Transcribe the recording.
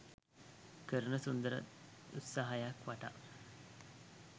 කරන සුන්දර උත්සාහයක් වටා